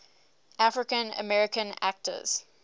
african american actors